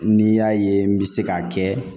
N'i y'a ye n bɛ se k'a kɛ